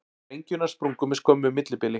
Sprengjurnar sprungu með skömmu millibili